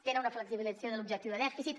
tenen una flexibilització de l’objectiu de dèficit